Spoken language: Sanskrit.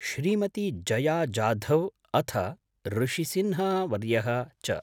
श्रीमती जया जाधव् अथ ऋषिसिन्हावर्यः च।